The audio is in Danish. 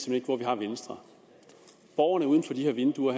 ved hvor vi har venstre borgerne uden for de her vinduer